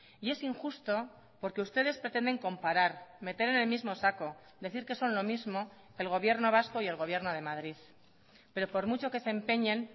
y es injusto porque ustedes pretenden comparar meter en el mismo saco decir que son lo mismo el gobierno vasco y el gobierno de madrid pero por mucho que se empeñen